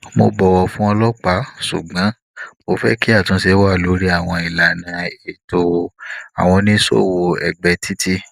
mo bọwọ fún ọlọpàá ṣùgbọn mo fẹ kí atunse wa lórí àwọn ilana eto awon onisowoo egbe titi